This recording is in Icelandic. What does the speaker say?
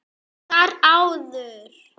Og þar áður?